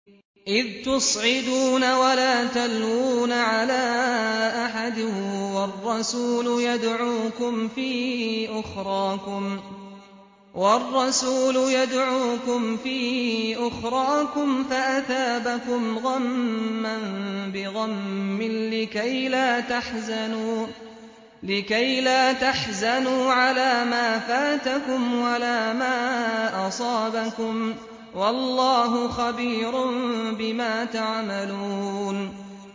۞ إِذْ تُصْعِدُونَ وَلَا تَلْوُونَ عَلَىٰ أَحَدٍ وَالرَّسُولُ يَدْعُوكُمْ فِي أُخْرَاكُمْ فَأَثَابَكُمْ غَمًّا بِغَمٍّ لِّكَيْلَا تَحْزَنُوا عَلَىٰ مَا فَاتَكُمْ وَلَا مَا أَصَابَكُمْ ۗ وَاللَّهُ خَبِيرٌ بِمَا تَعْمَلُونَ